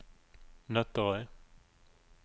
Nøtterøy